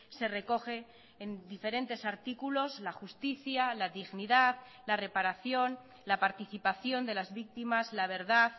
se recoge en diferentes artículos la justicia la dignidad la reparación la participación de las víctimas la verdad